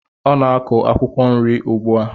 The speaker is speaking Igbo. Ọ na-akụ akwụkwọ nri ugbu a.